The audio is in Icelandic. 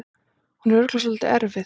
Hún er örugglega svolítið erfið.